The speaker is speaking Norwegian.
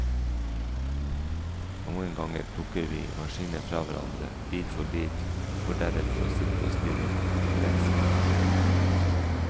Noen ganger plukker vi maskinen fra hverandre, bit for bit, for deretter å sitte og stirre forelsket på delene.